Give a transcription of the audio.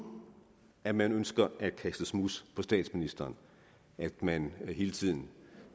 at man ønsker at kaste smuds på statsministeren at man hele tiden